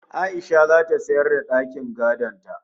A'isha zata sayar da dakin gadon ta